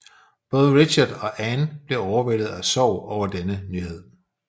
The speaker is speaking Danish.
Både Richard og Anne blev overvældet af sorg over denne nyhed